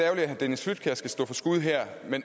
at herre dennis flydtkjær skal stå for skud her